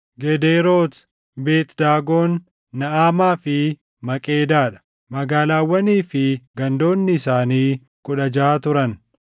Gedeerooti, Beet Daagon, Naʼamaa fi Maqeedaa dha; magaalaawwanii fi gandoonni isaanii kudha jaʼa turan.